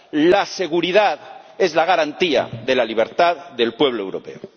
La seguridad es la garantía de la libertad del pueblo europeo.